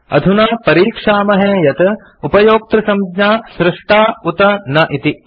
अधुना परीक्षामहे यत् उपयोक्तृसंज्ञा सृष्टा उत न इति